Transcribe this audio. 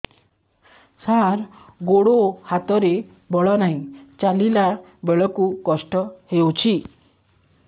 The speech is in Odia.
ସାର ଗୋଡୋ ହାତରେ ବଳ ନାହିଁ ଚାଲିଲା ବେଳକୁ କଷ୍ଟ ହେଉଛି